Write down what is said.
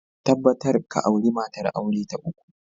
Tabbatar ka auri matar aure ta uku!